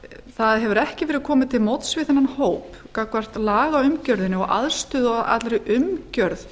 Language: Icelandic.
það hefur ekki verið komið til móts við þennan hóp gagnvart lagaumgjörðinni og aðstöðu og allri umgjörð